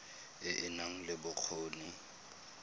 e e nang le bokgoni